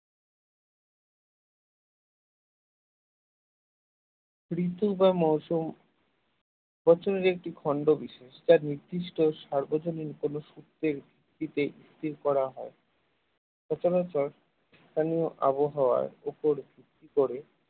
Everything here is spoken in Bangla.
ঋতু বা মৌসম প্রচলিত একটি খন্ড বিশেষ যা নির্দিষ্ট সার্বজনীন কোন সূত্রে স্থির করা হয় প্রথমত প্রথমত স্থানীয় আবহাওয়ার উপর ভিত্তি করে